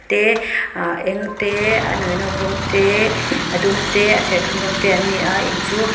te a eng te a nawinawk rawng te a dum te a serthlum rawng te an ni a in chu.